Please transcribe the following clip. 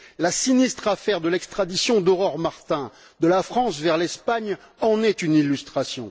La sinistre affaire de l'extradition d'Aurore Martin de la France vers l'Espagne en est une illustration.